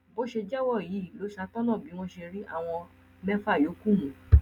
bó ṣe jẹwọ yìí ló ṣàtọnà bí wọn ṣe rí àwọn mẹfà yòókù mú